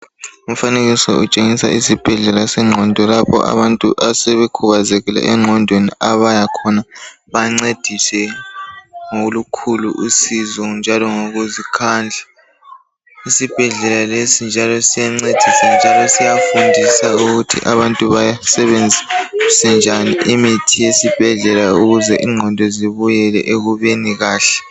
Umfanekiso utshengisela isibhedlela senqondo lapho abantu asebekhubazekile enqondweni abaya khona bencediswe ngolukhulu usizo njalo ngokuzikhandla, isibhedlela lesi siyancedisa njalo siyafundisa ukuthi abantu besebenzise njani imithi esibhedlela ukuze inqondo zibuyele ekubeni kahle.